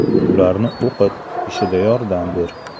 Ularni o‘qit, ishida yordam ber.